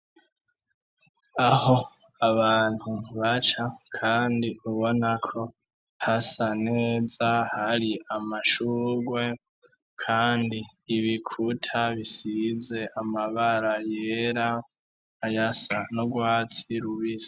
Aho abantu baca kandi ubona ko hasa neza, hari amashurwe, kandi ibikuta bisize amabara yera, ayasa n'urwatsi rubisi.